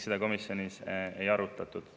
Seda komisjonis ei arutatud.